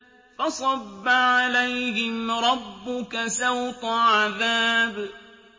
فَصَبَّ عَلَيْهِمْ رَبُّكَ سَوْطَ عَذَابٍ